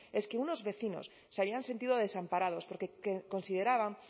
es que unos vecinos se habían sentido desamparados porque consideraban